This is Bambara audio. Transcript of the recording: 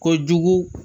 Kojugu